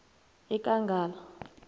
ekangala